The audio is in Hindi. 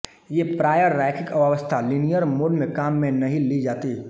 ये प्रायः रैखिक अवस्था लिनियर मोड में काम में नहीं ली जातीं